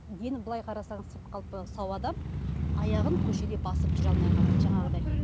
былай қарасаңыз сау адам аяғын көшеде басып жүре алмай қалады жаңағыдай